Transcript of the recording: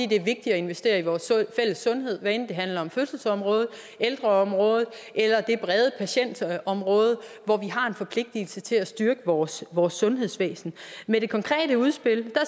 det er vigtigt at investere i vores fælles sundhed hvad enten det handler om fødselsområdet ældreområdet eller det brede patientområde hvor vi har en forpligtelse til at styrke vores vores sundhedsvæsen med det konkrete udspil